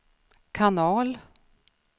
kanal